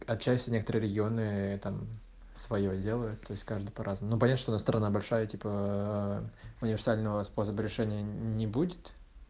отчасти некоторые регионы я там своё делаю то есть каждый по-разному ну понятно что у нас страна большая типа универсального способа решения не будет